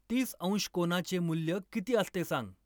तीस अंश कोनाचे मूल्य किती असते सांग.